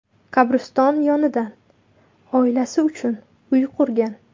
Qabriston yonidan oilasi uchun uy qurgan.